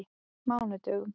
mánudögum